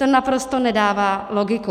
To naprosto nedává logiku.